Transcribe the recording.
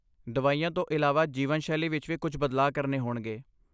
ਦਵਾਈਆਂ ਤੋਂ ਇਲਾਵਾ, ਜੀਵਨਸ਼ੈਲੀ ਵਿੱਚ ਵੀ ਕੁੱਝ ਬਦਲਾਅ ਕਰਨੇ ਹੋਣਗੇ।